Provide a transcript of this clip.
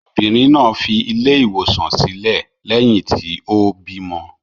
Obìnrin náà fi ilé-ìwòsàn sílẹ̀ lẹ́yìn tí ó bímọ.